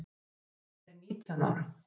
Fanney er nítján ára.